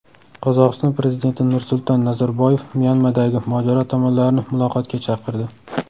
Qozog‘iston prezidenti Nursulton Nazarboyev Myanmadagi mojaro tomonlarini muloqotga chaqirdi.